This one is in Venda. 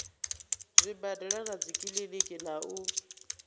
zwibadela na dzikiḽiniki na u